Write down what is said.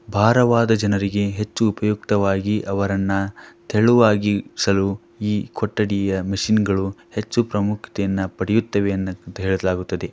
ಬಾರವಾದ ಜನರಿಗೆ ಹೆಚ್ಚು ಉಪಯುಕ್ತವಾಗಿ ಅವರನ್ನ ತೆಳುವಾಗಿಸಲು ಈ ಕೊಠಡಿಯ ಮಷೀನ್ಗಳು ಹೆಚ್ಚು ಪ್ರಮುಕ್ತಿಯನ್ನು ಪಡೆಯುತ್ತೇವೆ ಅಂತ ಹೇಳಲಾಗುತ್ತದೆ.